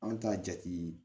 An bɛ taa jate